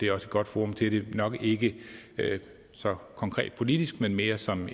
godt forum til det nok ikke så konkret politisk men mere som